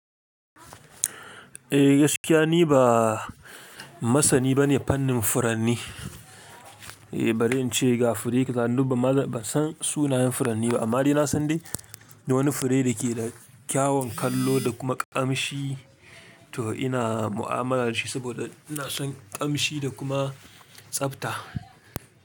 Eh gaskiya ni ba masani bane fannin furanni, eh bari in ce ga fure kadan dubba maza ban san sunayen furanni ba, amma dai na san dai da wani fure da ke da kyawawan kallo da kuma kamshi to ina mu'amala da shi saboda na son kamshi da kuma tsabta.